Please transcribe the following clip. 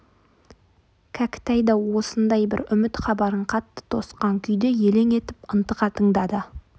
кәкітай да осындай бір үміт хабарын қатты тосқан күйде елең етіп ынтыға тыңдады